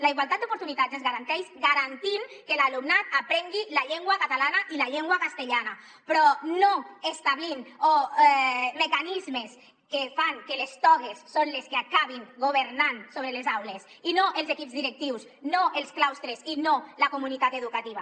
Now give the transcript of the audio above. la igualtat d’oportunitats es garanteix garantint que l’alumnat aprengui la llengua catalana i la llengua castellana però no establint mecanismes que fan que les togues són les que acabin governant sobre les aules i no els equips directius no els claustres i no la comunitat educativa